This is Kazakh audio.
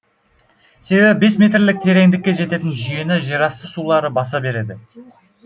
себебі бес метрлік тереңдікке жететін жүйені жерасты сулары баса береді